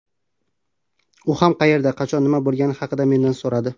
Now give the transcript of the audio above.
U ham qayerda, qachon, nima bo‘lgani haqida mendan so‘radi.